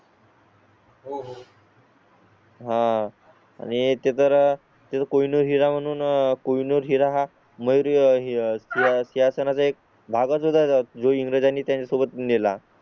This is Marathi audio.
होय आणि ते तर ते कोणी हिरा वून कोहिनूर हिरा हा. मग ह्याच्या सना चा एक भाग होता जो इंग्लिश आणि त्या सोबत नेला.